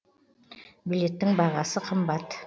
билеттің бағасы қымбат